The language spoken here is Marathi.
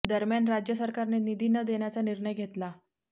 दरम्यान राज्य सरकारने निधी न देण्याचा निर्णय घेतला